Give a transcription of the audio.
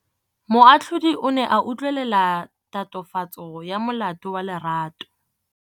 Moatlhodi o ne a utlwelela tatofatsô ya molato wa Lerato.